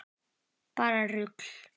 Bara rugl.